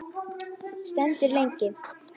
Stendur lengi.